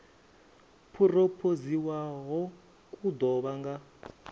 phurophoziwaho ku ḓo vha nga